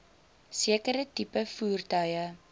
sekere tipe voertuie